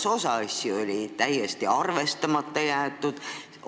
Kas osa asju oli täiesti arvestamata jäetud?